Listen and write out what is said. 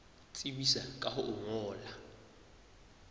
tsebisa ka ho o ngolla